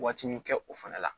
Waati min kɛ o fɛnɛ la